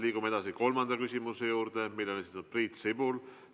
Liigume edasi kolmanda küsimuse juurde, mille on esitanud Priit Sibul.